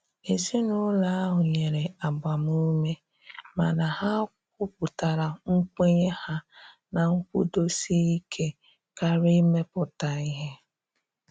Ezinụlọ ahụ nyere agbamume mana ha kwuputara nkwenye ha na nkwụdosike karịa imepụta ihe.